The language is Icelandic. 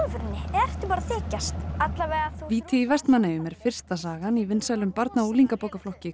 ertu bara að þykjast víti í Vestmannaeyjum er fyrsta sagan í vinsælum barna og